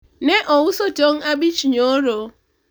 ne ouso tong' abich nyoro